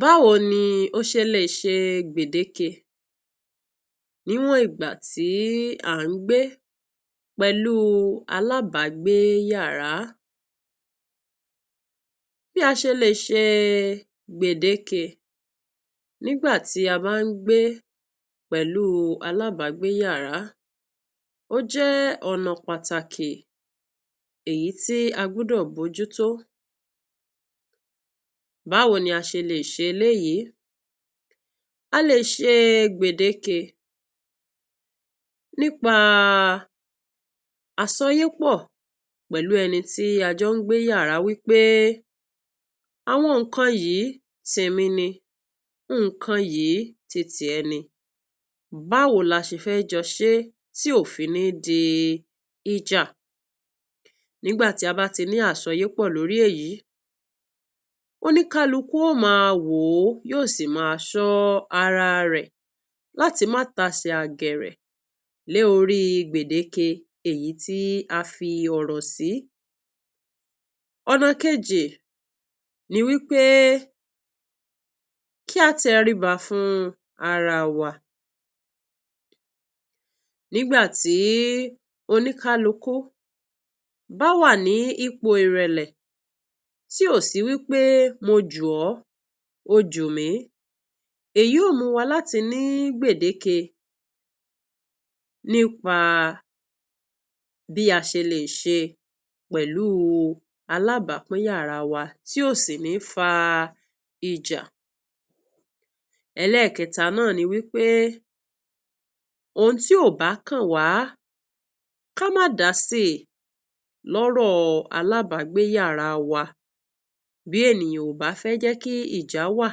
Báwo ni ọ̀sẹ̀lẹ̀ṣẹ̀ gbẹ̀dékẹ́ níwọ̀n ìgbà tí a ń gbé pẹ̀lú alábàgbé yàrá, bí a ṣe lè ṣe gbẹ̀dékẹ́ nígbà tí a bá ń gbé pẹ̀lú alábàgbé yàrá jẹ́ ọ̀nà pàtàkì tí a gbọ́dọ̀ bojútó. Báwo ni a ṣe lè ṣe èyí? A lè ṣe gbẹ̀dékẹ́ nípa àṣọyépọ̀ pẹ̀lú ẹni tí a jọ ń gbé yàrá wípé àwọn nkan yìí tèmí ni, nkan yìí tiẹ̀ ni, báwo là ṣe fẹ́ jóṣepọ̀ tí yóò fi ní di ìjà? Ìgbà tí a bá ti ní àṣọyépọ̀ lórí èyí, oní-kálùkù yóò máa wò, yóò sì máa sọ ara rẹ̀ láti máa tàsẹ̀ àgèrè lórí gbẹ̀dékẹ́ èyí tí a fi ọ̀rọ̀ sí. Ọ̀nà kejì ni wípé kí a tẹ́ríbá fún ara wa nígbà tí oní-kálùkù bá wà ní ipò ìrẹ̀lẹ̀, tí ó sì wípé mójú o, ojú mi, èyí yóò mú wa láti ní gbẹ̀kẹ́ nípa bí a ṣe lè ṣe pẹ̀lú alábápín yàrá wa tí ó sì ní fa ìjà. Ẹlẹ́ẹ̀kẹta náà ni wípé òun tí ọba kan wà ká má dàsí lórí ọ̀rọ̀ alábàgbé yàrá wa. Bí ènìyàn bá fẹ́ kí ìjà wá,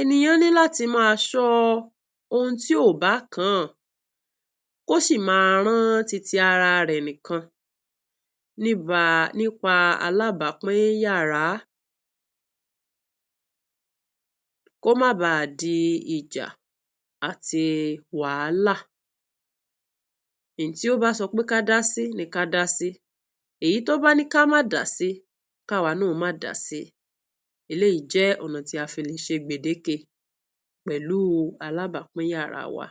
ènìyàn ní láti máa sọ òun tí ọba kan sí, máa rán títí ara rẹ̀ nikan nípa alábápín yàrá, kó má bà á di ìjà àti wàhálà. Èyí tó bá sọ pé kàdàsí ni kàdàsí, èyí tó bá ní ká má kàdàsí, ká má kàdàsí. Èyí jẹ́ ọ̀nà tá a fi lè ṣe gbẹ̀dékẹ́ pẹ̀lú alábápín yàrá wa.